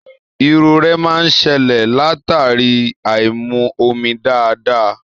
Irorẹ máa n ṣẹlẹ latari aimu omi dáadáa.